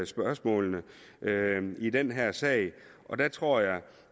spørgsmålene i den her sag og der tror jeg